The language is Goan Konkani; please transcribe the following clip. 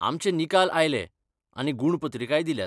आमचे निकाल आयले, आनी गूण पत्रिकाय दिल्यात.